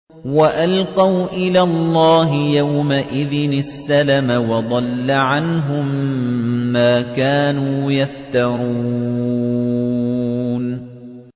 وَأَلْقَوْا إِلَى اللَّهِ يَوْمَئِذٍ السَّلَمَ ۖ وَضَلَّ عَنْهُم مَّا كَانُوا يَفْتَرُونَ